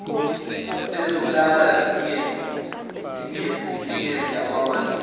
ezokulala zingenhla kwamadolo